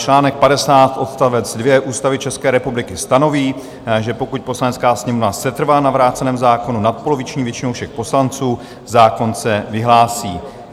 Článek 50 odstavec 2 Ústavy České republiky stanoví, že pokud Poslanecká sněmovna setrvá na vráceném zákonu nadpoloviční většinou všech poslanců, zákon se vyhlásí.